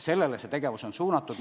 Sellele on tegevus suunatud.